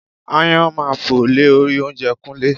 Aáyán máa fò lé orí oúnjẹ Kúnlé